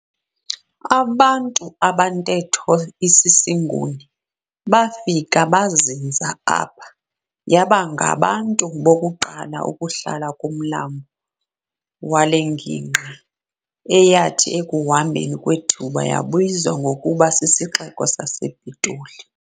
Abantu abantetho isisiNguni abafika bazinza apha yaba ngabantu bokuqala ukuhlala kumlambo wale ngingqi eyathi ekuhambeni kwethuba yabizwa ngokuba sisixeko sasePitoli.